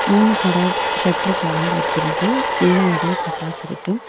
மூணு கடை ஷட்டர் தொறந்து வச்சிருக்கு ஃபுல்லா நிறைய பட்டாஸ் இருக்கு.